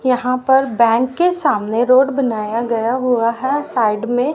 यहां पर बैंक के सामने रोड बनाया गया है साइड में--